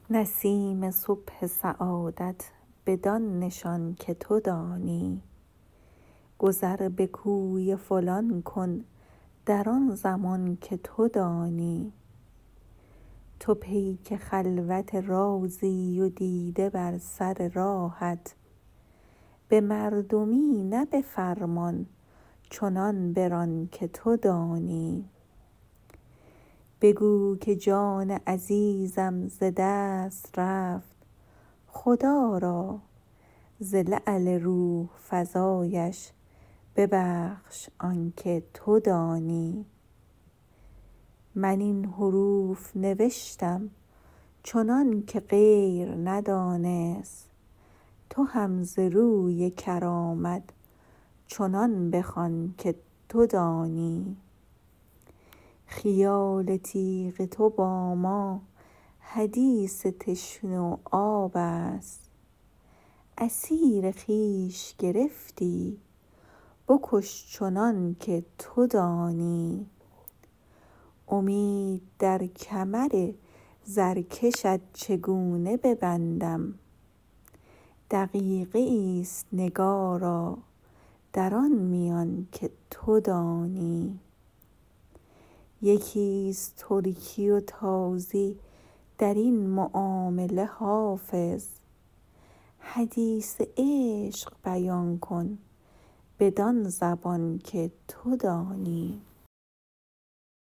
نسیم صبح سعادت بدان نشان که تو دانی گذر به کوی فلان کن در آن زمان که تو دانی تو پیک خلوت رازی و دیده بر سر راهت به مردمی نه به فرمان چنان بران که تو دانی بگو که جان عزیزم ز دست رفت خدا را ز لعل روح فزایش ببخش آن که تو دانی من این حروف نوشتم چنان که غیر ندانست تو هم ز روی کرامت چنان بخوان که تو دانی خیال تیغ تو با ما حدیث تشنه و آب است اسیر خویش گرفتی بکش چنان که تو دانی امید در کمر زرکشت چگونه ببندم دقیقه ای است نگارا در آن میان که تو دانی یکی است ترکی و تازی در این معامله حافظ حدیث عشق بیان کن بدان زبان که تو دانی